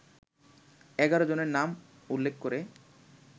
১১ জনের নাম উল্লেখ করে